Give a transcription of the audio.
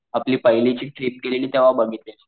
आपली पहिलीची ट्रिप गेलेली तेव्हा बघितलेल मी.